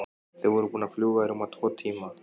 Þau voru búin að fljúga í rúma tvo tíma.